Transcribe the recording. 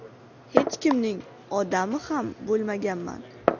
Hech kimning ‘odami’ ham bo‘lmaganman.